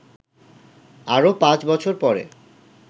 আরও পাঁচ বছর পরে